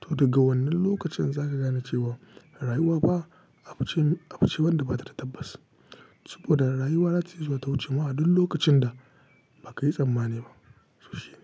to daga wannan lokacin za ka gane cewa rayuwa ba abu ce wanda ba ta da tabbas. Saboda rayuwa za ta iya zuwa ta wuce mu a duk lokacin da ba ka yi tsammani ba. To shi ne.